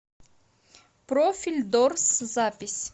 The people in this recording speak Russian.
профильдорс запись